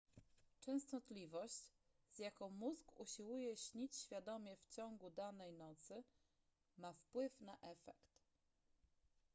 częstotliwość z jaką mózg usiłuje śnić świadomie w ciągu danej nocy ma wpływ na efekt